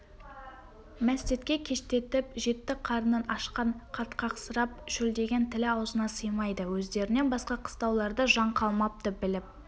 мәстәтке кештетіп жетті қарны ашқан қатқақсырап шөлдеген тілі аузына сыймайды өздерінен басқа қыстауларда жан қалмапты біліп